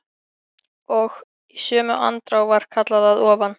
Og í sömu andrá var kallað að ofan.